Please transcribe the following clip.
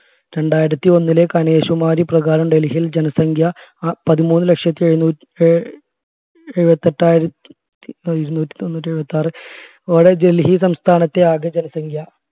രണ്ടായിരത്തി ഒന്നിലെ കനിഷുമാരിപ്രകാരം ഡൽഹിയിൽ ജനസംഖ്യ പതിമൂന്നു ലക്ഷത്തി ഡൽഹി സംസ്ഥാനത്തെ ആകെ ജനസംഖ്യ